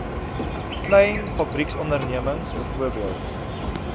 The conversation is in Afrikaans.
klein fabrieksondernemings bv